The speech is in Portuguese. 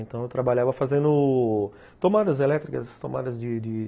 Então, eu trabalhava fazendo tomadas elétricas, tomadas de de